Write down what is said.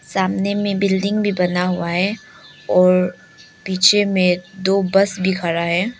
सामने में बिल्डिंग भी बना हुआ है और पीछे में दो बस भी खरा है।